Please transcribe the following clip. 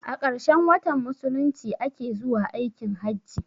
A ƙarshen watan musulunci a ke zuwa aikin hajji.